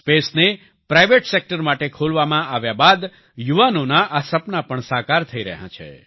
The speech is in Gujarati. સ્પેસને પ્રાઈવેટ સેક્ટર માટે ખોલવામાં આવ્યા બાદ યુવાનોના આ સપનાં પણ સાકાર થઈ રહ્યા છે